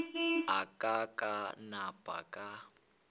a ka ka napa ka